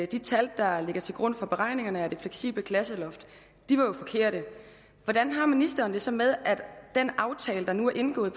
de tal der ligger til grund for beregningerne af det fleksible klasseloft var forkerte hvordan har ministeren det så med at den aftale der nu er indgået